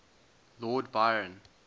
lord byron